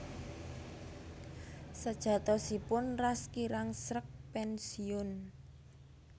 Sajatosipun Ras kirang sreg pénsiun